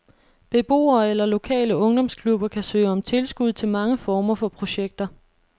Beboere eller lokale ungdomsklubber kan søge om tilskud til mange former for projekter.